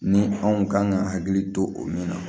Ni anw kan ka hakili to o min na